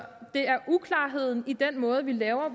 det er uklarheden i den måde vi laver